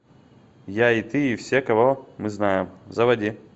я и ты и все кого мы знаем заводи